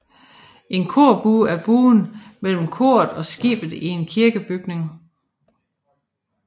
En korbue er buen mellem koret og skibet i en kirkebygning